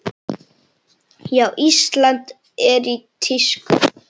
Já, Ísland er í tísku.